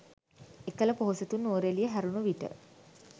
එකල පොහොසතුන් නුවරඑළිය හැරුණු විට